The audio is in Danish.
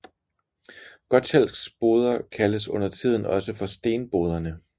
Gotschalks Boder kaldes undertiden også for Stenboderne